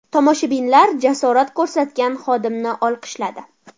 Tomoshabinlar jasorat ko‘rsatgan xodimni olqishladi.